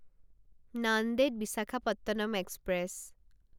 Nanded Visakhapatnam express